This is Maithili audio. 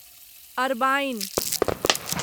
अरबाईन